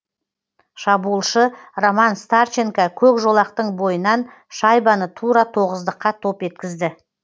шабуылшы роман старченко көк жолақтың бойынан шайбаны тура тоғыздыққа топ еткізді